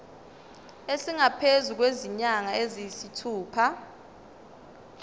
esingaphezu kwezinyanga eziyisithupha